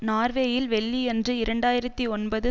நார்வேயில் வெள்ளியன்று இரண்டு ஆயிரத்தி ஒன்பது